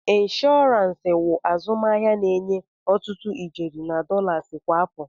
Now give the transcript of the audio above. Inshọransi wụ azụmahịa na-enye ọtụtụ ijeri na dọlas kwa afọ.